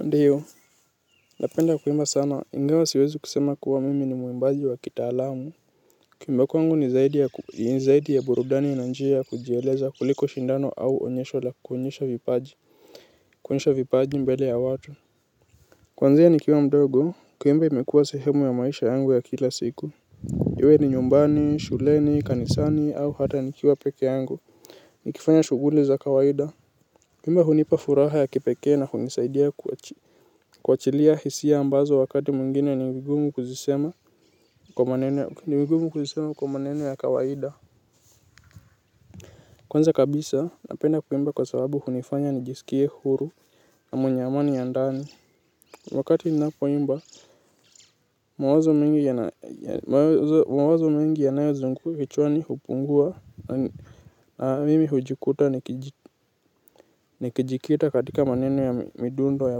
Ndiyo napenda kuimba sana ingawa siwezi kusema kuwa mimi ni muimbaji wa kitaalamu kuimba kwangu ni zaidi ya burudani na njia ya kujieleza kuliko shindano au onyesho la kuonyesha vipaji kuonyesha vipaji mbele ya watu kuanzia nikiwa mdogo kuimba imekuwa sehemu ya maisha yangu ya kila siku iwe ni nyumbani shuleni kanisani au hata nikiwa pekee yangu nikifanya shughuli za kawaida kuimba hunipa furaha ya kipekee na hunisaidia kuach chilia hisia ambazo wakati mwingine ni vigumu kuzisema kwa maneno ya kawaida. Kwanza kabisa, napenda kuimba kwa sababu hunifanya nijisikie huru na mwenye amani ya ndani. Wakati ninapoimba, mawazo mengi yanayo zungu kichwani hupungua na mimi hujikuta ni kijikita katika maneno ya midundo ya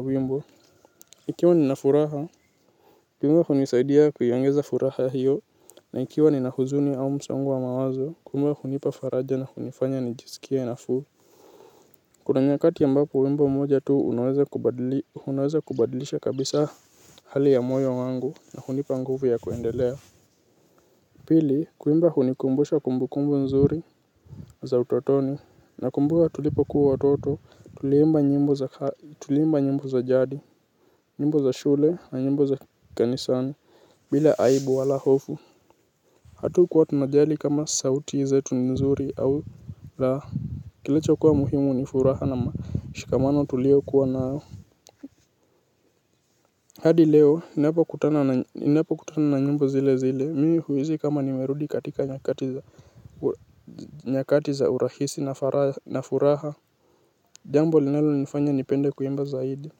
wimbo. Ikiwa ninafuraha, kuimba hunisaidia kuiongeza furaha hiyo. Na ikiwa nina huzuni au msongo wa mawazo, kuimba hunipa faraja na hunifanya nijisikie nafuu. Kuna nyakati ambapo wimbo moja tu unaweza kubadlisha kabisa hali ya moyo wangu na hunipa nguvu ya kuendelea. Pili, kuimba hunikumbusha kumbukumbu nzuri za utotoni. Nakumbuka tulipokuwa watoto, tuliimba nyimbo za jadi, nyimbo za shule na nyimbo za kanisani, bila aibu wala hofu. Hatukuwa tunajali kama sauti zetu ni nzuri au laa, kilicho kuwa muhimu ni furaha na mashikamano tuliokuwa nao. Hadi leo, ninapo kutana na nyimbo zile zile, mimi huisi kama nimerudi katika nyakati za urahisi na furaha. Jambo linalo nifanya nipenda kuimba zaidi.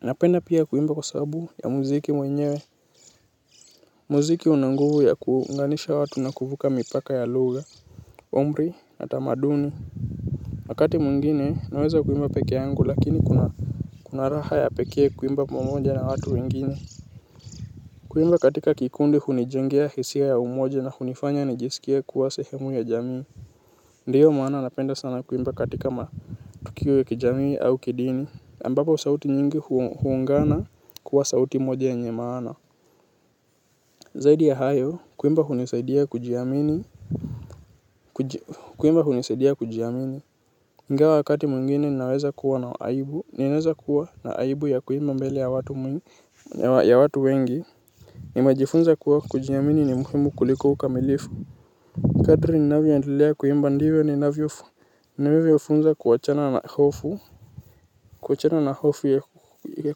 Napenda pia kuimba kwa sabu ya muziki mwenyewe. Muziki una nguvu ya kuunganisha watu na kuvuka mipaka ya lugha umri utamaduni wakati mwingine naweza kuimba pekee yangu lakini kuna kuna raha ya pekee kuimba pamoja na watu wengine. Kuimba katika kikundi hunijengea hisia ya umoja na hunifanya nijisikie kuwa sehemu ya jamii. Ndiyo maana napenda sana kuimba katika matukio ya kijamii au kidini ambapo sauti nyingi huungana kuwa sauti moja yenye maana. Zaidi ya hayo kuimba hunisaidia kujiamini. Kuimba hunisaidia kujiamini ingawa wakati mwingine naweza kuwa na aibu. Ninaweza kuwa na aibu ya kuimba mbele ya watu wengi. Nimejifunza kuwa kujiamini ni muhimu kuliko ukamilifu. Kadri ninavyoendelea kuimba ndivyo ninavyo fu ninavyo funza kuwachana na hofu. Kuwachana na hofu ya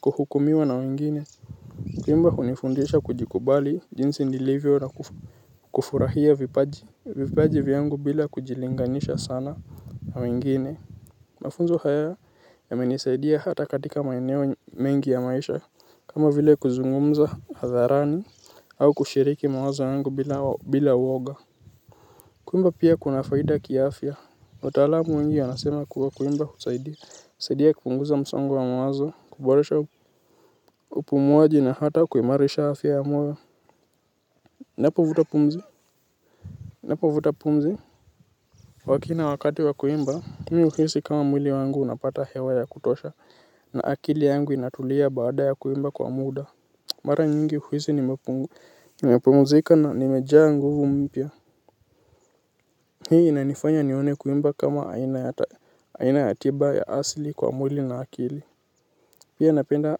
kuhukumiwa na mwingine. Kuimba hunifundisha kujikubali jinsi nilivyo na kufurahia vipaji vipaji vyangu bila kujilinganisha sana na wengine. Mafunzo haya yamenisaidia hata katika maeneo mengi ya maisha kama vile kuzungumza hatharani au kushiriki mawazo yangu bila uoga. Kuimba pia kuna faida kiafya utaalamu ingi yanasema kuwa kuimba husaidia husaidia kupunguza msongo wa mawazo. Kuboresha upumuaji na hata kuimarisha afya ya moyo. Napofuta pumzi napofuta pumzi lakini wakati wa kuimba mimi huhisi mwili wangu unapata hewa ya kutosha. Na akili yangu inatulia baada ya kuimba kwa muda. Mara nyingi huhisi nimepungu nimepumuzika na nimejaa nguvu mpya. Hii inanifanya nione kuimba kama aina ya tiba ya asili kwa mwili na akili. Pia napenda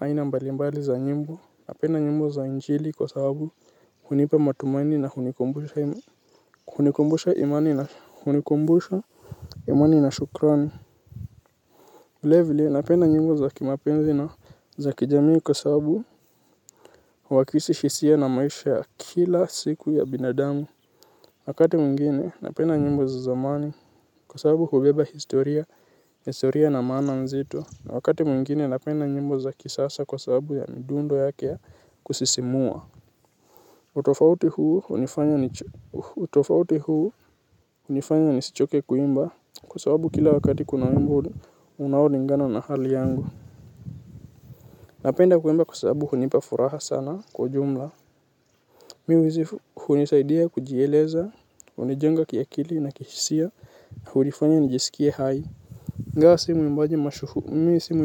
aina mbalimbali za nyimbo. Napenda nyimbo za injili kwa sababu hunipa matumani na hunikumbusha imani na hunikumbusha, imani na shukrani. Vile vile, napenda nyimbo za kimapenzi na za kijamii kwa sababu huwakisi hisia na maisha ya kila siku ya binadamu. Wakati mwingine, napenda nyimbo za zamani kwa sababu hubeba historia historia na maana mzito. Wakati mwingine, napenda nyimbo za kisasa kwa sababu ya midundo yake kusisimua. Tofauti huu hunifanya nisichoke kuimba kwa sababu kila wakati kuna nyimbo unaolingana na hali yangu. Napenda kuimba kwa sababu hunipa furaha sana kwa jumla. Mi huhisi hunisaidia kujieleza hunijenga kiakili na kihisia hunifanya nijiskie hai ingawa si mwimbaji mi si.